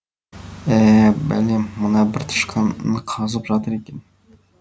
ә бәлем мына бір тышқан ін қазып жатыр екен